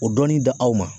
O dɔni da aw ma